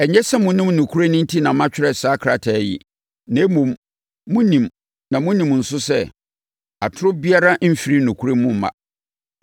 Ɛnyɛ sɛ monnim nokorɛ no enti na matwerɛ saa krataa yi, na mmom, monim na monim nso sɛ, atorɔ biara mfiri nokorɛ mu mma.